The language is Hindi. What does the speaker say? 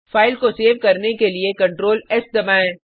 फाइल को सेव करने के लिए Ctrl एस दबाएँ